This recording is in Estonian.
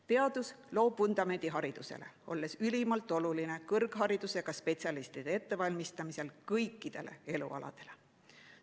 Teadus loob vundamendi haridusele, olles ülimalt oluline kõrgharidusega spetsialistide ettevalmistamisel kõikidele elualadele.